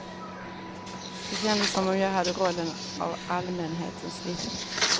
Det kändes som om jag hade rollen av allmänhetens vittne.